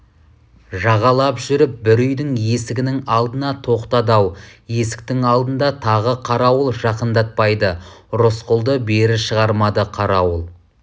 жағалап жүріп бір үйдің есігінің алдына тоқтады-ау есіктің алдында тағы қарауыл жақындатпайды рысқұлды бері шығармады қарауыл